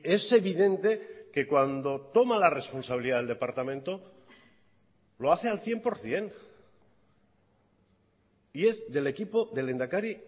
es evidente que cuando toma la responsabilidad del departamento lo hace al cien por ciento y es del equipo del lehendakari